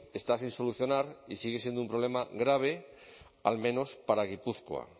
está sin solucionar y sigue siendo un problema grave al menos para gipuzkoa